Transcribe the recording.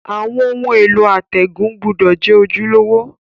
Àwon oun èló àtègùn gbúdò je ojúlówó